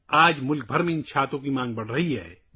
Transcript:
آج ملک بھر میں ان چھتریوں کی مانگ بڑھ رہی ہے